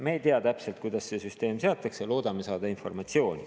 Me ei tea täpselt, kuidas see süsteem seatakse, nii et loodame saada informatsiooni.